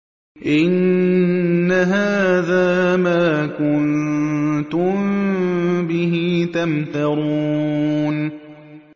إِنَّ هَٰذَا مَا كُنتُم بِهِ تَمْتَرُونَ